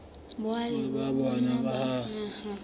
boahi ba bona ba naha